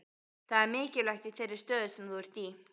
Það er mikilvægt í þeirri stöðu sem þú ert í.